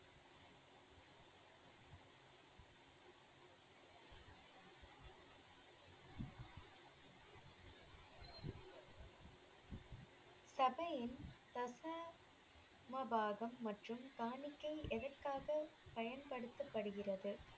சபையின் தசமபாகம் மற்றும் காணிக்கை எதற்காகப் பயன்படுத்தப்படுகிறது?